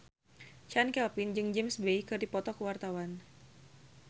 Chand Kelvin jeung James Bay keur dipoto ku wartawan